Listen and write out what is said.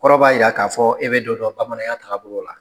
Kɔrɔ b'a yira ka fɔɔ e bɛ dɔ dɔn bamananya tagabolo la.